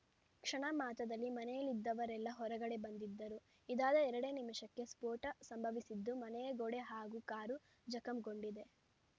ಕ್ಷಣ ಮಾತ್ರದಲ್ಲಿ ಮನೆಯಲ್ಲಿದ್ದವರೆಲ್ಲಾ ಹೊರಗಡೆ ಬಂದಿದ್ದರು ಇದಾದ ಎರಡೇ ನಿಮಿಷಕ್ಕೆ ಸ್ಫೋಟ ಸಂಭವಿಸಿದ್ದು ಮನೆಯ ಗೋಡೆ ಹಾಗೂ ಕಾರು ಜಖಂಗೊಂಡಿದೆ